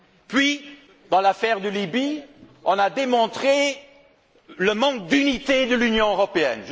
Puis, dans l'affaire de la Libye, nous avons démontré le manque d'unité de l'Union européenne.